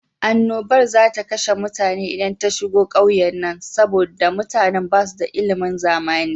Annobar za ta kashe mutane idan ta shigo ƙauyennan, saboda da mutanan ba su da ilimin zamana.